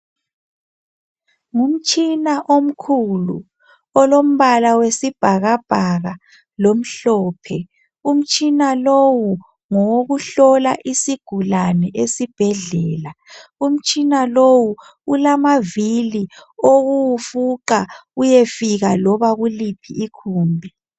Ngumtshina omkhulu olombala wesibhakabhaka lomhlophe umtshina lowu ngowokuhlola isigulane esibhedlela umtshina lowu ulamavili okuwufuqa uyefika loba kuliphi igumbi.